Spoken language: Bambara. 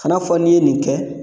Kana fɔ n'i ye nin kɛ